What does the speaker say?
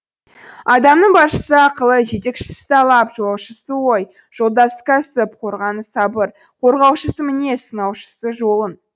адамның басшысы ақылы жетекшісі талап жолаушысы ой жолдасы кәсіп қорғаны сабыр қорғаушысы мінез сынаушысы жолың